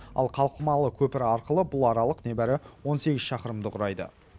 ал қалқымалы көпір арқылы бұл аралық небәрі он сегіз шақырымды құрайды